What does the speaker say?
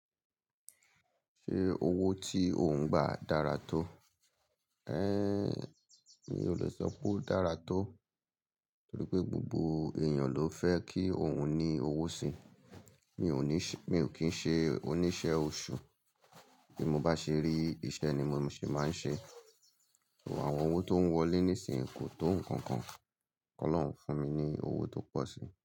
Ṣé owó tí ò ń gba dára tó? Mi ò lè sọpé ó dára tó torí gbogbo èyàn lófẹ́ kí ohun ní owó sí mi ò ní, mi ò kín ṣe oníṣẹ́ oṣù, bí mo bá ṣe rí, iṣẹ́ ni mo se máa ń ṣe. Awin owó tó ń wọlé nísinyìn kò tó ǹkankan, kí Ọlọ́run fún mi nhi owó tó pọ̀ sí okoi ó lè sọpé ó dára tó torí gbogbo èyàn lófẹ́ kí ohun ní owó sí.